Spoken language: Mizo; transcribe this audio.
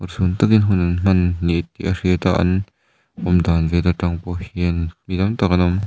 urhsun takin hun an hman ni tih a hriat a an awm dan vel atang pawh hian mi tam tak an awm.